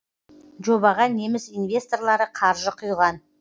жобаға неміс инвесторлары қаржы құйған